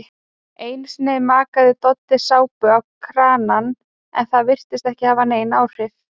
Einusinni makaði Doddi sápu á kranann en það virtist ekki hafa nein áhrif.